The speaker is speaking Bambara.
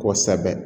Kosɛbɛ